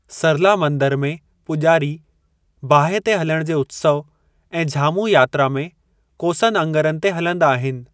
सरला मंदर में पुॼारी बाहि ते हलणु जे उत्सव ऐं झामू यात्रा में कोसनि अङरनि ते हलंदा आहिनि।